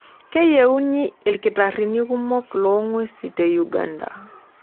Keyieuni ilkitarrini kumok loo ng'wesi te Uganda.